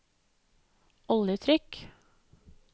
oljetrykk